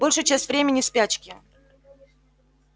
большую часть времени в спячке